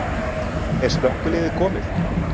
Er slökkviliðið komið?